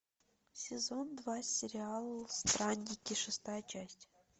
сезон два сериал странники шестая часть